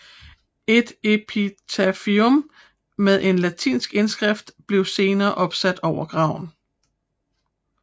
Et epitafium med en latinsk indskrift blev senere opsat over graven